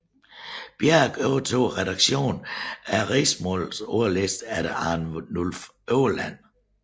Bjerke overtog redaktionen af Riksmålsordlisten efter Arnulf Øverland